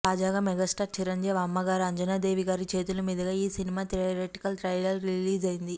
తాజాగా మెగాస్టార్ చిరంజీవి అమ్మగారు అంజనాదేవి గారి చేతుల మీదుగా ఈ సినిమా థియేట్రికల్ ట్రైలర్ రిలీజ్ అయింది